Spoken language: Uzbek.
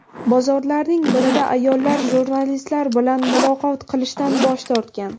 Bozorlarning birida ayollar jurnalistlar bilan muloqot qilishdan bosh tortgan.